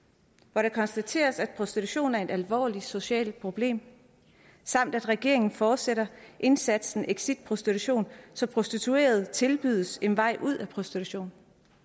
hvor det konstateres at prostitution er et alvorligt socialt problem samt at regeringen fortsætter indsatsen exit prostitution så prostituerede tilbydes en vej ud af prostitution